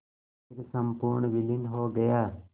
फिर संपूर्ण विलीन हो गया